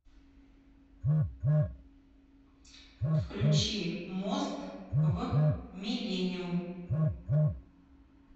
включи мост в миллениум